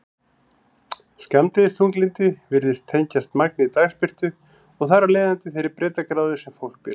Skammdegisþunglyndi virðist tengjast magni dagsbirtu og þar af leiðandi þeirri breiddargráðu sem fólk býr á.